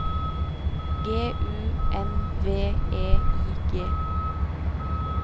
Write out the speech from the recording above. G U N V E I G